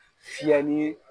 Fiyɛli